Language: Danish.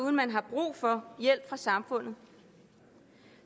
at man har brug for hjælp fra samfundet